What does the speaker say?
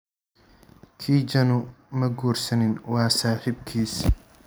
Kijanu ma guursanin, waa saaxiibkiis.